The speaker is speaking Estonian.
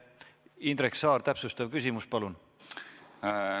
Indrek Saar, täpsustav küsimus, palun!